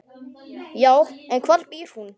Já, en hvar býr hún?